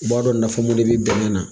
I b'a dɔn nafa dɔ de bɛ bɛnɛ na.